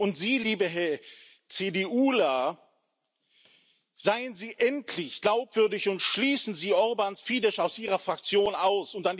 Und Sie, liebe CDUler, seien Sie endlich glaubwürdig und schließen Sie Orbáns Fidesz aus Ihrer Fraktion aus!